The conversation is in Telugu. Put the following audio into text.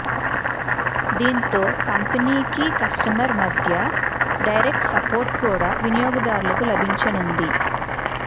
దీంతో కంపెనీకి కస్టమర్ మధ్య డైరెక్ట్ సపోర్ట్ కూడా వినియోగదారులకు లభించనుంది